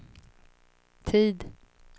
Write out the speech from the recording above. tid